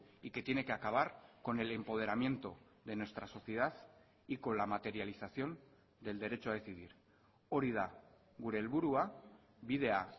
y que tiene que acabar con el empoderamiento de nuestra sociedad y con la materialización del derecho a decidir hori da gure helburua bidea